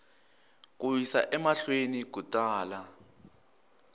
ku yisa emahlweni ku tala